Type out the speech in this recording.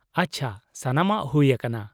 -ᱟᱪᱪᱷᱟ ᱾ ᱥᱟᱱᱟᱢᱟᱜ ᱦᱩᱭ ᱟᱠᱟᱱᱟ ᱾